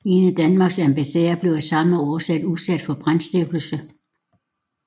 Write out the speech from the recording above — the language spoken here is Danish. En af Danmarks ambassader blev af samme årsag udsat for brandstiftelse